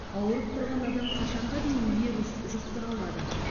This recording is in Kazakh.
ауырып тұрған адам қашанға дейін вирус жұқтыра алады